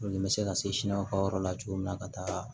Olu bɛ se ka se ka yɔrɔ la cogo min na ka taa